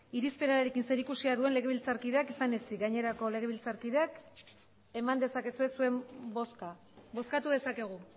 irizpenarekin zerikusia duen legebiltzarkideak izan ezik gainerako legebiltzarkideak eman dezakezue zuen bozka bozkatu dezakegu